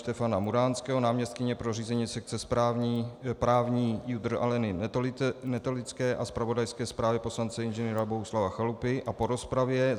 Štefana Muránského, náměstkyně pro řízení sekce právní JUDr. Aleny Netolické a zpravodajské zprávě poslance Ing. Bohuslava Chalupy a po rozpravě